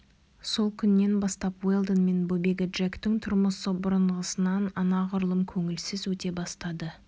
сол күннен бастап уэлдон мен бөбегі джектің тұрмысы бұрынғысынан анағұрлым көңілсіз өте бастады